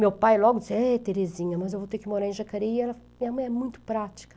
Meu pai logo disse, é Terezinha, mas eu vou ter que morar em Jacareí, minha mãe é muito prática.